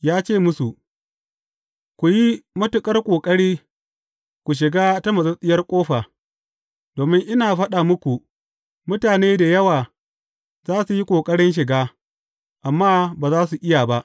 Ya ce musu, Ku yi matuƙar ƙoƙari ku shiga ta matsattsiyar ƙofa, domin ina faɗa muku, mutane da yawa za su yi ƙoƙarin shiga, amma ba za su iya ba.